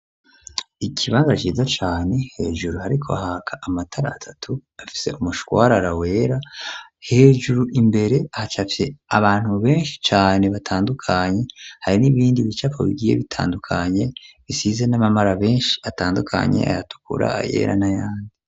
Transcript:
Ikibanza ciza cane hejuru hariko haka amatara atatu afise umushwarara wera hejuru imbere hacafye abantu beshi cane batandukanye hari n'ibindi bicapo bigiye bitandukanye bisize n'amabara meshi atandukanye ayatukura ayera na yandi.